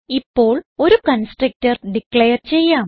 ഇപ്പോൾ ഒരു constructor declare ചെയ്യാം